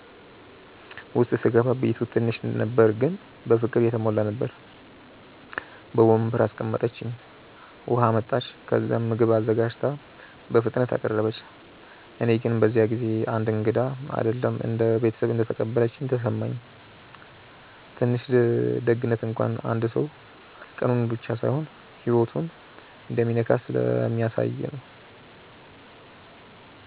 ውስጥ ሲገባ ቤቱ ትንሽ ነበር ግን በፍቅር የተሞላ ነበር። በወንበር አስቀምጠችኝ፣ ውሃ አመጣች፣ ከዚያም ምግብ አዘጋጅታ በፍጥነት አቀረበች። እኔ ግን በዚያ ጊዜ እንደ እንግዳ አይደለም እንደ ቤተሰብ እንደተቀበለችኝ ተሰማኝ። ትንሽ ደግነት እንኳን አንድ ሰው ቀኑን ብቻ ሳይሆን ህይወቱን እንደሚነካ ስለሚያሳየ ነው